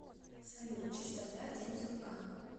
салют частота день сурка